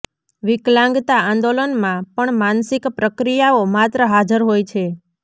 વિકલાંગતા આંદોલનમાં પણ માનસિક પ્રક્રિયાઓ માત્ર હાજર હોય છે